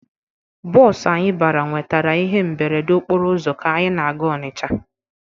Bọọsụ anyị bara nwetara ihe mberede okporo ụzọ ka anyị na-aga Ọnịcha.